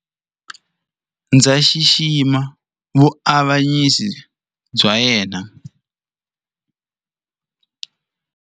Ndzi xixima vuavanyisi bya yena.